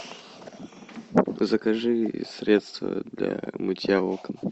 закажи средство для мытья окон